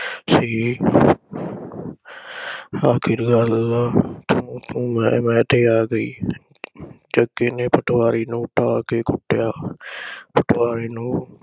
ਸੀ। ਆਖਿਰ ਗੱਲ ਤੂੰ ਤੂੰ ਮੈਂ ਮੈਂ ਤੇ ਆ ਗਈ । ਜੱਗੇ ਨੇ ਪਟਵਾਰੀ ਨੂੰ ਢਾਹ ਕੇ ਕੁੱਟਿਆ। ਪਟਵਾਰੀ ਨੂੰ